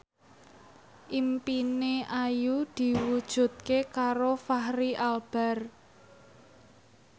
impine Ayu diwujudke karo Fachri Albar